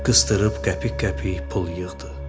Qızdırıb qəpik-qəpik pul yığdı.